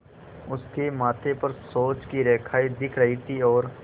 उसके माथे पर सोच की रेखाएँ दिख रही थीं और